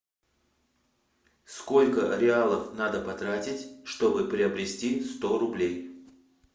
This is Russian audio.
сколько реалов надо потратить чтобы приобрести сто рублей